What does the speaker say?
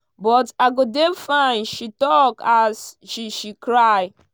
but i go dey fine" she tok as she she cry.